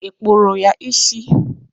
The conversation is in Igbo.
Ị kpụrụ ya isi?